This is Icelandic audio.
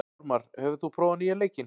Ormar, hefur þú prófað nýja leikinn?